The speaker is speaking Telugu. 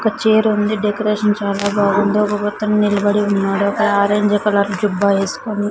ఒక చీరుంది డెకరేషన్ చాలా బాగుంది ఒకొకతను నిలబడి ఉన్నాడు ఒక ఆరెంజ్ కలర్ జుబ్బా వేస్కొని.